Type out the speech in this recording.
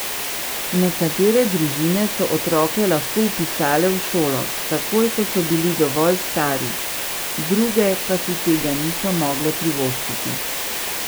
Nekatere družine so otroke lahko vpisale v šolo, takoj ko so bili dovolj stari, druge pa si tega niso mogle privoščiti.